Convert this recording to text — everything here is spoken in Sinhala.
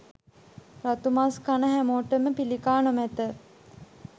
රතු මස් කන හැමෝටම පිළිකා නොමැත.